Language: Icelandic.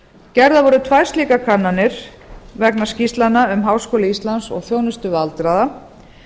gerðar voru tvær slíkar kannanir vegna skýrslna um háskóla íslands og þjónustu við aldraða